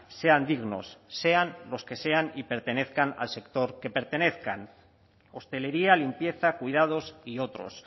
sean dignos sean los que sean y pertenezcan al sector que pertenezcan hostelería limpieza cuidados y otros